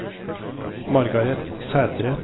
Margareth Sætre